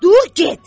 Dur, get!